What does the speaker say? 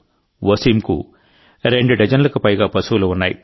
వసీంకు రెండు డజన్లకు పైగా పశువులు ఉన్నాయి